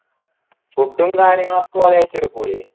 food ഉം കാര്യങ്ങളൊക്കെ ഓർ ഏറ്റെടുക്കൂലെ